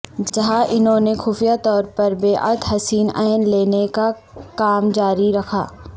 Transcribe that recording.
جہاں انہوں نے خفیہ طور پر بیعت حسین ع لینے کا کام جاری رکھا